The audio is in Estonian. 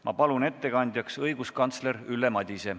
Ma palun ettekandjaks õiguskantsler Ülle Madise.